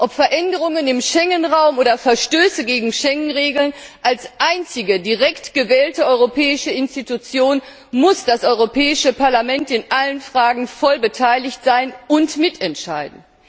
Ob Veränderungen im Schengenraum oder Verstöße gegen Schengenregeln als einzige direkt gewählte europäische Institution muss das Europäische Parlament in allen Fragen voll beteiligt sein und mitentscheiden!